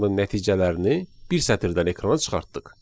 bütün nəticələrini bir sətirdən ekrana çıxartdıq.